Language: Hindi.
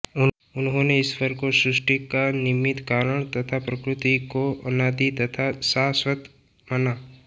उन्होंने ईश्वर को सृष्टि का निमित्त कारण तथा प्रकृति को अनादि तथा शाश्वत माना